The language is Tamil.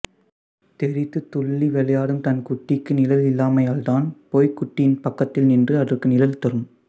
தெறித்துத் துள்ளி விளையாடும் தன் குட்டிக்கு நிழல் இல்லாமையால் தான் போய்க் குட்டியின் பக்கத்தில் நின்று அதற்கு நிழல் தரும்